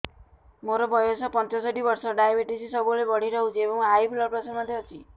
ମୋର ବୟସ ପଞ୍ଚଷଠି ବର୍ଷ ଡାଏବେଟିସ ସବୁବେଳେ ବଢି ରହୁଛି ଏବଂ ହାଇ ବ୍ଲଡ଼ ପ୍ରେସର ମଧ୍ୟ ଅଛି